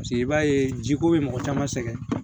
Paseke i b'a ye jiko bɛ mɔgɔ caman sɛgɛn